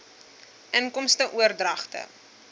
inkomste oordragte